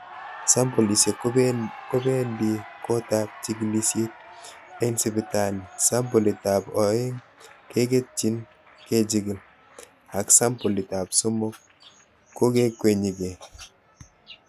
Sampolisiek kobendit gotab chigilisiet en sipitali, sampolitab oeng keketyin kechigili ak sampol it ab somok konekiwekyin gee.